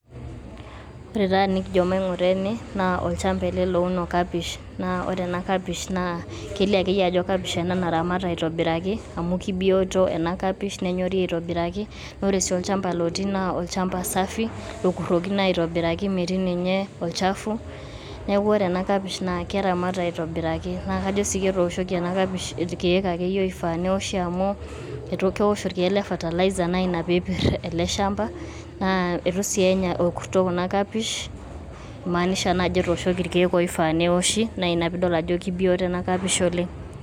Ore taa enikijo maing'ura ene naa olchamba ele louno kapish naa ore ena kapish naa kelio akeyie ajo kapish ena naramata aitobiraki amu kebiyoto ena kapish nenyori aitobiraki. Naa ore sii olchamba lotii naa olchamba safi lokurokino aitobiraki metii ninye olchafu, neeku ore ena kapish naake eramata aitobiraki. Naa kajo sii ketooshoki ena kapish irkeek akeyie oifaa neoshi amu keosho irkee le fertilizer naa ina pee epir ele shamba naa itu sii enya orkuto kuna kapish imaanisha naa ajo ketooshoki irkeek oifaa neoshi naa ina piidol ajo kebioto ena kapish oleng'.